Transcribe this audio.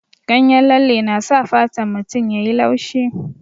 Ganyen lalle na sa fatan mutum ya yi laushi.